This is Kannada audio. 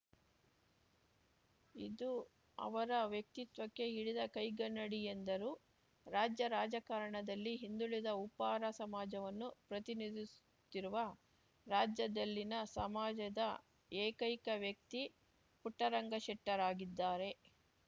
ಇದು ಅವರ ವ್ಯಕ್ತಿತ್ವಕ್ಕೆ ಹಿಡಿದ ಕೈಗನ್ನಡಿ ಎಂದರು ರಾಜ್ಯ ರಾಜಕಾರಣದಲ್ಲಿ ಹಿಂದುಳಿದ ಉಪ್ಪಾರ ಸಮಾಜವನ್ನು ಪ್ರತಿನಿಧಿಸುತ್ತಿರುವ ರಾಜ್ಯದಲ್ಲಿನ ಸಮಾಜದ ಏಕೈಕ ವ್ಯಕ್ತಿ ಪುಟ್ಟರಂಗಶೆಟ್ಟರಾಗಿದ್ದಾರೆ